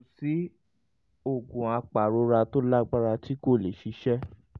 kò sí oògùn apàrora tó lágbára tí kò lè ṣiṣẹ́